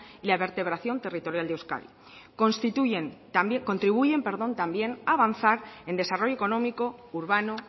y la vertebración territorial de euskadi contribuyen también a avanzar en desarrollo económico urbano